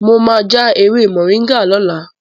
Mo máa já ewé Moringa lọ́la.